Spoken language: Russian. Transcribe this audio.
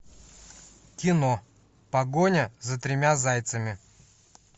кино погоня за тремя зайцами